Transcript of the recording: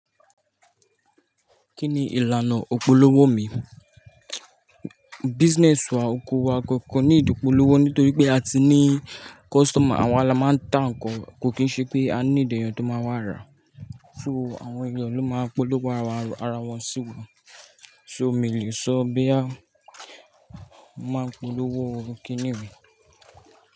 Kí ni ìlànà òpó lọ́wọ́ mi? Business wa, ko wa ko need ipò lọ́wọ́ nítorí pé a ti ní kọ́sítọ̀mà awa lama máa ń ta nǹkan, kò kí ṣe pé a ní èèyàn tó máa wá ra. So àwọn èèyàn ló máa ń polówó ara wọn síwa. So mi ò lè sọ bóyá a máa polówó kiní mi.